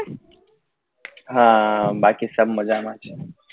હા બાકી સબ મજામાં